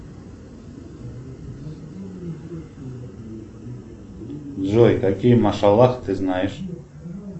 джой какие машаллах ты знаешь